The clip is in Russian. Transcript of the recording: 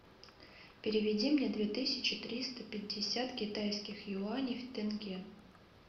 переведи мне две тысячи триста пятьдесят китайских юаней в тенге